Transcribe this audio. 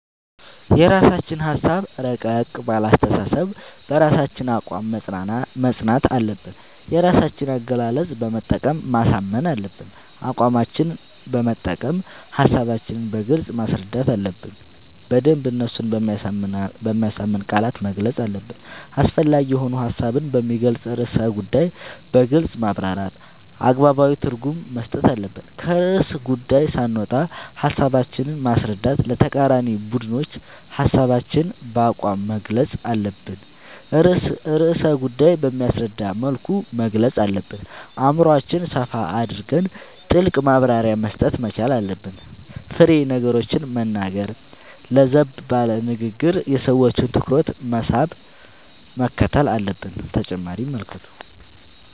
የራስችን ሀሳብ እረቀቅ ባለ አስተሳሰብ በራሳችን አቋም መፅናት አለብን የራሳችን አገላለፅ በመጠቀም ማሳመን አለብን አቋማችን መጠቀም ሀሳባችን በግልጽ ማስረዳት አለብን በደንብ እነሱን በሚያሳምን ቃላት መግለፅ አለብን አስፈላጊ የሆኑ ሀሳቡን በሚገልፅን ርዕሰ ጉዳዮን በግልፅ ማብራራት አገባባዊ ትርጉም መስጠት አለብን። ከርዕሰ ጉዳዪ ሳንወጣ ሀሳባችን ማስረዳት ለተቃራኒ ቡድኖች ሀሳባችን በአቋም መግልፅ አለብን ርዕሰ ጉዳይ በሚያስረዳ መልኩ መግለፅ አለብን አእምሮአችን ሰፋ አድርገን ጥልቅ ማብራሪያ መስጠት መቻል አለብን። ፋሬ ነገሮችን መናገር ለዘብ ባለ ንግግር የሰዎችን ትኩረት መሳብ ምክትል አለብን።…ተጨማሪ ይመልከቱ